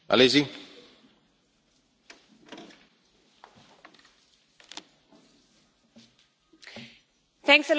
Mr President, I want to remind all my colleagues that the German Bundestag took an absolutely historic decision last Friday.